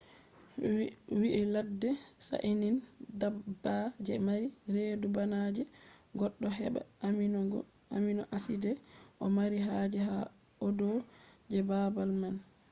ha ladde saɗinan dabba je mari redu bana je goddo heba amino-acid o mari haje ha audi je baabal man